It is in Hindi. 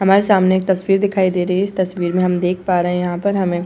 हमारे सामने एक तस्वीर दिखाई दे रही है इस तस्वीर में हम देख पा रहे है यहाँ पर हमें --